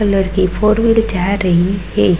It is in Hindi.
कलर की फोर वीलर जा रही हे।